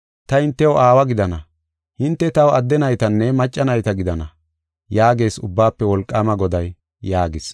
Ta hintew aawa gidana; hinte taw adde naytanne macca nayta gidana; yaagees Ubbaafe Wolqaama Goday” yaagis.